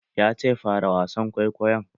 Yace "Fara wasan kwaikwayon"!